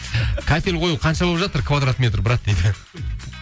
кафель қою қанша болып жатыр квадрат метр брат дейді